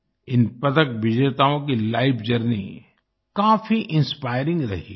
इन पदक विजेताओं की लाइफ जर्नी काफ़ी इंस्पायरिंग रही है